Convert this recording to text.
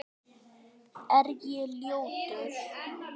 Er ég ljótur?